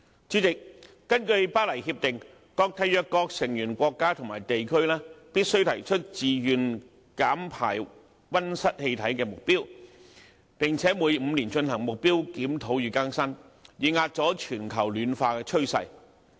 主席，根據《巴黎協定》，各締約成員國家和地區必須提出自願減排溫室氣體的目標，並且每5年進行目標檢討與更新，以遏阻全球暖化的趨勢。